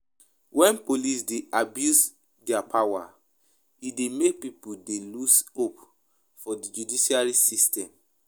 when police dey abuse their power e dey make pipo dey loose hope for di judicial system